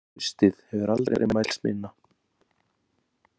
Traustið hefur aldrei mælst minna.